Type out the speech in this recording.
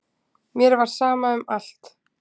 Mér var sama um allt.